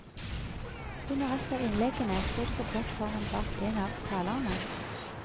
Under ett av innleggene sto de på plattformen bak en av talerne.